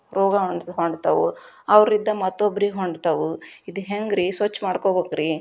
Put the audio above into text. ರೋಗ ಅಂಟ್ಕೊಂತಾವು ಅವರಿಂದ ಮತ್ತೊಬ್ಬರಿಗೆ ಅಂಟ್ಕೊಂತಾವೆ ಇದೆಂಗ್ರೀ ಸ್ವಚ್ಛ ಮಾಡ್ಕೋಬೇಕು ರೀ.